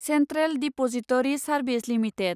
central depository service limited